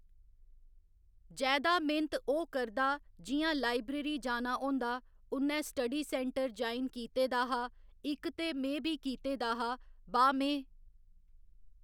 जैदा मैहनत ओह् करदा जियां लाइब्रेरी जाना होंदा उ'न्नै स्टडी सैंटर ज्वाइन कीते दा हा इक ते में बी कीते दा हा बा में